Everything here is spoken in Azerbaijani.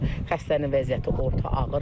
Xəstənin vəziyyəti orta ağırdır.